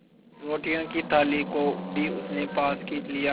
रोटियों की थाली को भी उसने पास खींच लिया